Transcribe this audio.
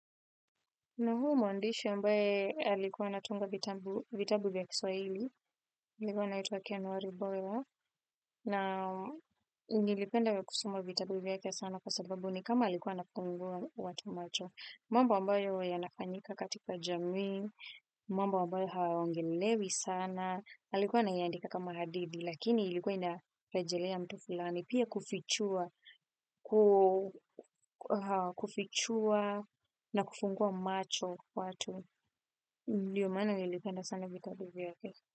Nihuu mwandishi ambaye alikuwa anatunga vitabu vya kiswahili. Alikuwa anaituwa Ken walibora. Na nilipenda wa kusoma vitabu vyake sana kwa sababu ni kama alikuwa anakuwa anafungua watu macho. Mambo ambayo yanafanyika katika jamii. Mambo ambayo hayaongelelewi sana. Alikuwa anayaandika kama hadithi. Lakini ilikuwa ina rejelea mtu fulani pia kufichua kufichua na kufungua macho kwa watu ndiyo maana nilipenda sana vitabu vyake.